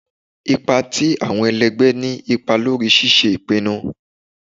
Ipa ti awọn ẹlẹgbẹ ni ipa lori ṣiṣe ipinnu